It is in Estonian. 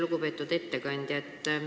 Lugupeetud ettekandja!